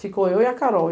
Ficou eu e a Carol.